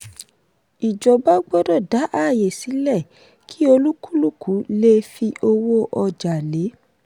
ìjọba gbọ́dọ̀ dá ààyè sílẹ̀ kí olúkúlùkù lè fi owó ọjà lé.